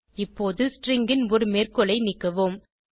இப்போது ஸ்ட்ரிங் ன் ஒரு மேற்கோளை நீக்குவோம்